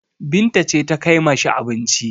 Binta ce ta kai ma shi abincin.